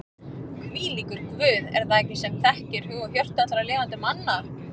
Hvílíkur Guð er það ekki sem þekkir hug og hjörtu allra lifandi manna?